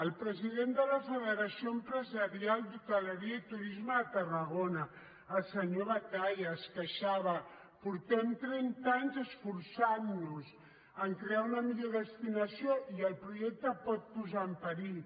el president de la federació empresarial d’hostaleria i turisme a tarragona el senyor batalla es queixava fa trenta anys que ens esforcem a crear una millor destinació i el projecte ho pot posar en perill